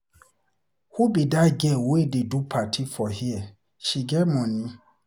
Who be dat girl wey dey do party for here? She get money.